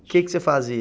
O que que você fazia?